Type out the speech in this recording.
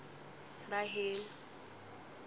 baheno